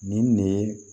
Nin ne ye